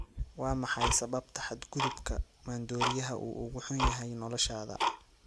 Waa maxay sababta xadgudubka maandooriyaha uu ugu xun yahay noloshaada?